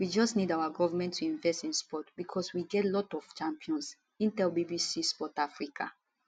we just need our govment to invest in sport becos we go get lot of champions im tell bbc sport africa